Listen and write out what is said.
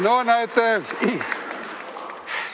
No näete!